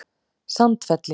Sandfelli